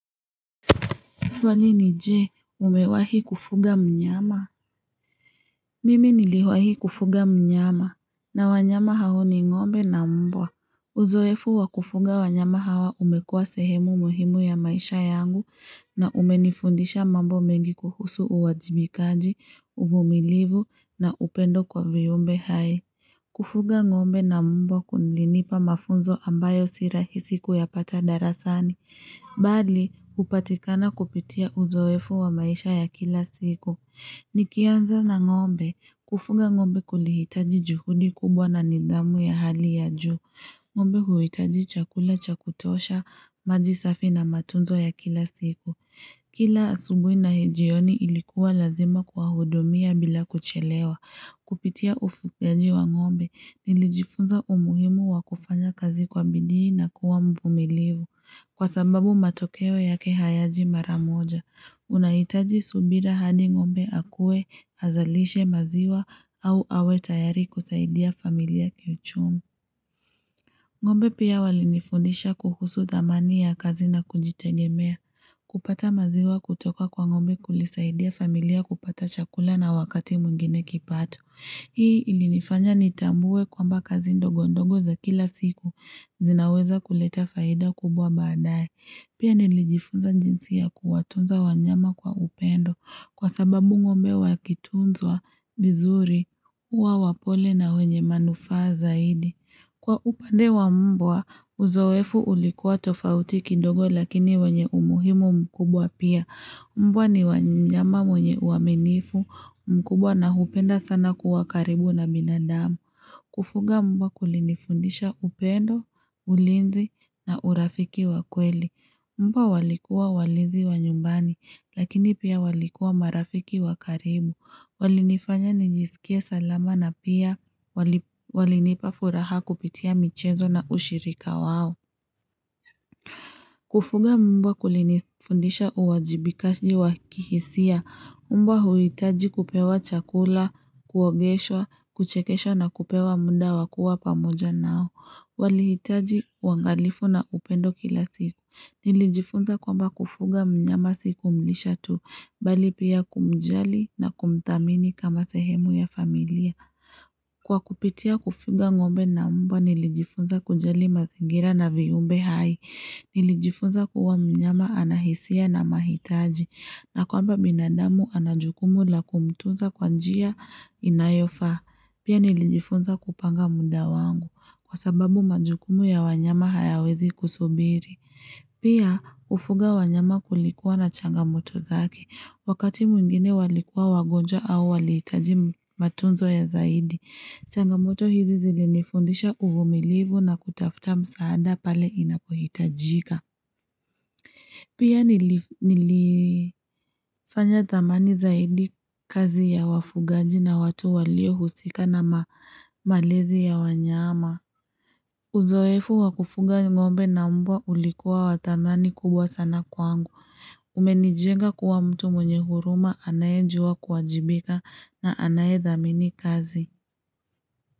Swali ni je, umewahi kufuga mnyama? Mimi niliwahi kufuga mnyama, na wanyama hao ni ngombe na mbwa. Uzoefu wakufuga wanyama hawa umekua sehemu muhimu ya maisha yangu, na umenifundisha mambo mengi kuhusu uwajibikaji, uvumilivu, na upendo kwa viumbe hai. Kufuga ngombe na mbwa kunilinipa mafunzo ambayo sirahisi kuyapata darasani. Mbali, hupatikana kupitia uzowefu wa maisha ya kila siku Nikianza na ngombe, kufuga ngombe kulihitaji juhudi kubwa na nithamu ya hali ya juu ngombe huitaji chakula cha kutosha, maji safi na matunzo ya kila siku Kila asubuhi na jioni ilikuwa lazima kwa hudumia bila kuchelewa Kupitia ufugaji wa ngombe, nilijifunza umuhimu wa kufanya kazi kwa bidii na kuwa mvumilivu Kwa sababu matokeo yake hayaji mara moja, unahitaji subira hadi ngombe akue azalishe maziwa au awe tayari kusaidia familia kiuchumi. Ngombe pia wali nifundisha kuhusu thamani ya kazi na kujitegemea. Kupata maziwa kutoka kwa ngombe kulisaidia familia kupata chakula na wakati mwingine kipato. Hii ilinifanya nitambue kwamba kazi ndogo ndogo za kila siku zinaweza kuleta faida kubwa baadae. Pia nilijifunza jinsi ya kuwatunza wanyama kwa upendo kwa sababu ngombe wa kitunzwa vizuri huwa wapole na wenye manufaa zaidi. Kwa upande wa mbwa, uzowefu ulikuwa tofauti kidogo lakini wenye umuhimu mkubwa pia. Mbwa ni mnyama mwenye uaminifu mkubwa na hupenda sana kuwa karibu na binadamu. Kufuga mbwa kulinifundisha upendo, ulinzi na urafiki wa kweli. Mbwa walikuwa walizi wa nyumbani, lakini pia walikuwa marafiki wa karibu. Walinifanya nijisikie salama na pia walinipa furaha kupitia michezo na ushirika wao. Kufuga mbwa kulinifundisha uwajibikaji wakihisia. Mbwa huitaji kupewa chakula, kuogeshwa, kuchekeshwa na kupewa munda wakua pamoja nao. Walihitaji wangalifu na upendo kila siku. Nilijifunza kwamba kufuga mnyama siku kumlisha tu, bali pia kumjali na kumthamini kama sehemu ya familia. Kwa kupitia kufuga ngombe na mbwa, nilijifunza kujali mazingira na viyumbe hai. Nilijifunza kuwa mnyama ana hisia na mahitaji. Na kwamba binadamu anajukumu la kumtunza kwanjia inayofa. Pia nilijifunza kupanga muda wangu kwa sababu majukumu ya wanyama hayawezi kusubiri. Pia ufuga wanyama kulikuwa na changamoto zake. Wakati mwingine walikuwa wagonjwa au walihitaji matunzo ya zaidi. Changamoto hizi zilinifundisha uvumilivu na kutafuta msaada pale inapohitajika. Pia nilifanya thamani zaidi kazi ya wafugaji na watu walio husika na malezi ya wanyama. Uzoefu wakufuga ngombe na mbwa ulikuwa wathamani kubwa sana kwangu. Umenijenga kuwa mtu mwenye huruma anaye juwa kuwajibika na anaye thamini kazi.